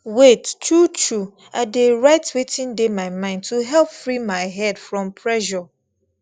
wait truetrue i dey write wetin dey my mind to help free my head from pressure